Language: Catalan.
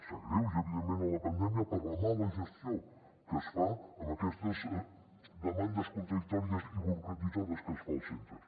s’agreuja evidentment amb la pandèmia per la mala gestió que es fa amb aquestes demandes contradictòries i burocratitzades que es fan als centres